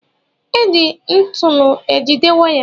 E ji ntụnụ e jide waya.